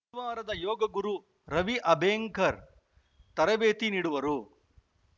ಹರಿದ್ವಾರದ ಯೋಗಗುರು ರವಿ ಅಬೆಂಕರ್ ತರಬೇತಿ ನೀಡುವರು